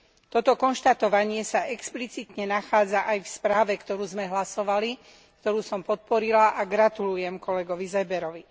Toto konštatovanie sa explicitne nachádza aj v správe, o ktorej sme hlasovali, ktorú som podporila, a gratulujem kolegovi Seeberovi.